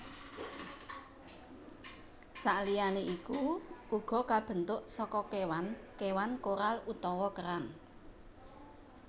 Saliyané iku uga kabentuk saka kéwan kéwan koral utawa kerang